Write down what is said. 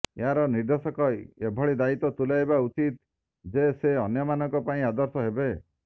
ଏହାର ନିର୍ଦେଶକ ଏଭଳି ଦାୟିତ୍ବ ତୁଲାଇବା ଉଚିତ ଯେ େସ ଅନ୍ୟମାନଙ୍କ ପାଇଁ ଆଦର୍ଶ ହେବେ